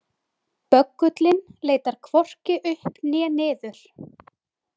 Böggullinn leitar hvorki upp né niður.